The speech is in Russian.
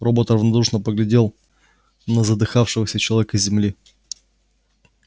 робот равнодушно поглядел на задыхавшегося человека с земли